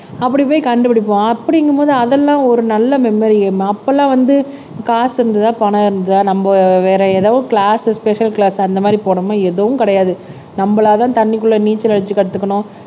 அப்படி போய் கண்டு பிடிப்போம் அப்படிங்கும்போது அதெல்லாம் ஒரு நல்ல மெமரி அப்பல்லாம் வந்து காசு இருந்ததா பணம் இருந்ததா நம்ம வேற எதோ கிளாஸ் ஸ்பெஷல் கிளாஸ் அந்த மாதிரி போனோமா எதுவும் கிடையாது நம்மளாதான் தண்ணிக்குள்ள நீச்சல் அடிச்சு கத்துக்கணும்